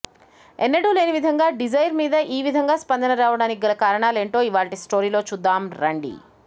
ఎన్నడూ లేని విధంగా డిజైర్ మీద ఈ విధంగా స్పందన రావడానికి గల కారణాలేంటో ఇవాళ్టి స్టోరీలో చూద్దాం రండి